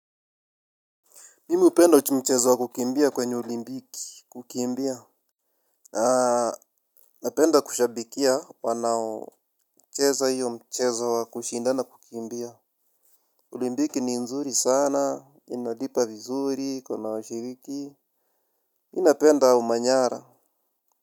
Mimi hupenda mchezo wa kukimbia kwenye olimpiki kukimbia. Na napenda kushabikia wanao cheza hiyo mchezo wa kushindana kukimbia. Olimpiki ni nzuri sana, inalipa vizuri, iko na washiriki. Mimi napenda umanyara.